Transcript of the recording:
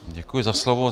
Děkuji za slovo.